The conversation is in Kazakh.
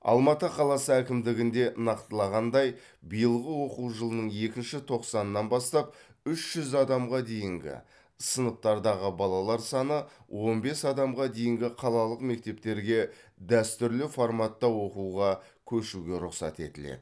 алматы қаласы әкімдігінде нақтылағандай биылғы оқу жылының екінші тоқсанынан бастап үш жүз адамға дейінгі сыныптардағы балалар саны он бес адамға дейінгі қалалық мектептерге дәстүрлі форматта оқуға көшуге рұқсат етіледі